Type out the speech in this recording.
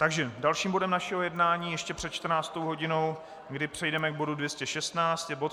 Takže dalším bodem našeho jednání ještě před 14. hodinou, kdy přejdeme k bodu 216, je bod